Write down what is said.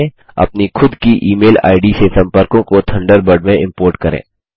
अपनी खुद की ई मेल आईडी से सम्पर्कों को थंडरबर्ड में इम्पोर्ट करें